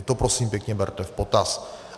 I to prosím pěkně berte v potaz.